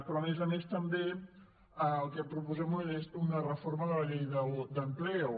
però a més a més també el que proposem és una reforma de la llei d’empleo